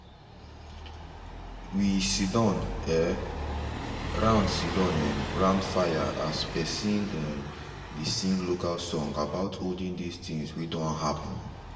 we siddon um round siddon um round fire as pisin um dey sing local song about olden days things wey don happen.